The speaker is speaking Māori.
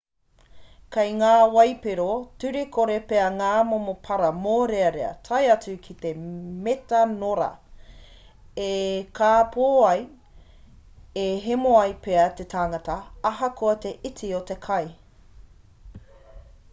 kei ngā waipiro turekore pea ngā momo para mōrearea tae atu ki te metanora e kāpō ai e hemo ai pea te tangata ahakoa te iti o te kai